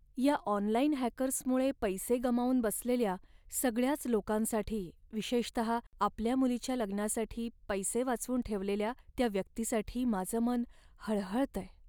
या ऑनलाइन हॅकर्समुळे पैसे गमावून बसलेल्या सगळ्याच लोकांसाठी, विशेषत आपल्या मुलीच्या लग्नासाठी पैसे वाचवून ठेवलेल्या त्या व्यक्तीसाठी माझं मन हळहळतंय.